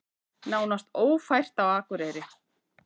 Nánast ófært á Akureyri